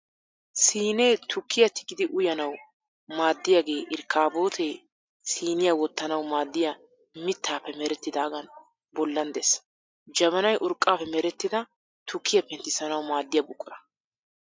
Siinee tukkiya tigidi uyanawu maaddiyage irkkaaboote siiniya wottanawu maaddiya mittaappe merettidaagan bollan des. Jabanay urqqaappe merettida tukkiya penttisanawu maaddiya buqura.